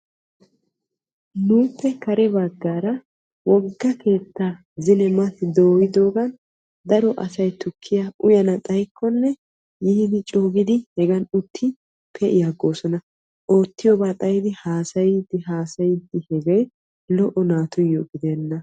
Nuuppe kare baggaara wogga keetta zino mati doyyodoogan daro asay tukkiya uyyanaw xaykkonne yiidi coo gidi hegan uttid pe'i aggopsona. Oottiyooba xayiddi haassayidi haassayidi, hegee lo"o naatuyyo gidenna!